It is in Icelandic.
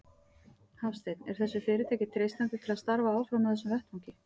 Hafsteinn: Er þessu fyrirtæki treystandi til að starfa áfram á þessum vettvangi?